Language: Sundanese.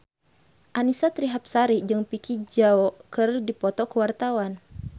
Annisa Trihapsari jeung Vicki Zao keur dipoto ku wartawan